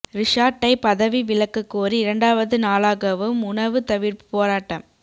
ரிஷாட்டை பதவி விலக்க கோரி இரண்டாவது நாளாகவும் உணவு தவிர்ப்பு போராட்டம்